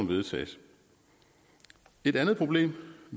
vedtages et andet problem